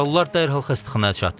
Yaralılar dərhal xəstəxanaya çatdırılıb.